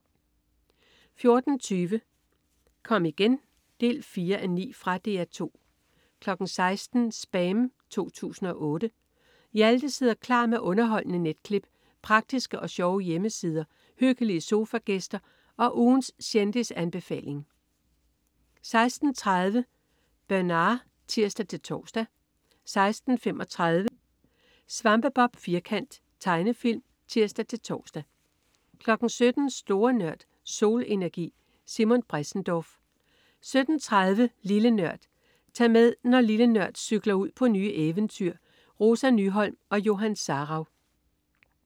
14.20 Kom igen 4:9. Fra DR 2 16.00 SPAM 2008. Hjalte sidder klar med underholdende netklip, praktiske og sjove hjemmesider, hyggelige sofagæster og ugens kendisanbefaling 16.30 Bernard (tirs-tors) 16.35 Svampebob Firkant. Tegnefilm (tirs-tors) 17.00 Store Nørd. Solenergi. Simon Bressendorf 17.30 Lille Nørd. Tag med, når "Lille Nørd" cykler ud på nye eventyr. Rosa Nyholm og Johan Sarauw